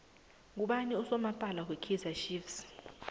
ngubani usomaphali wekaizer chiefs